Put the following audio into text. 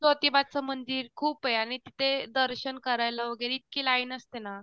ज्योतिबाचं मंदिर खूप आहे. आणि तिथे दर्शन वगैरे करायला इतकी लाईन असते ना